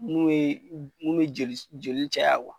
N'u ye, n'u ye joli, joli cayaya